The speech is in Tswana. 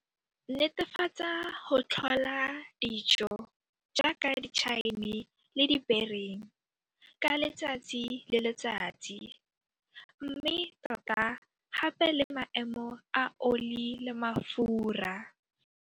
Netefatsa go tlhola dilo jaaka ditšhaene le dibering ka letsatsi le letsatsi mme tota gape le maemo a oli le mafura.